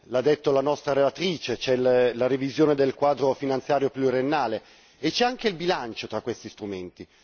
L'ha detto la nostra relatrice c'è la revisione del quadro finanziario pluriennale e c'è anche il bilancio tra questi strumenti.